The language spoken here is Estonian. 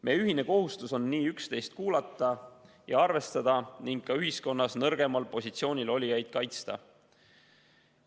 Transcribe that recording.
Meie ühine kohustus on üksteist kuulata ja üksteisega arvestada ning ühiskonnas nõrgemal positsioonil olijaid kaitsta.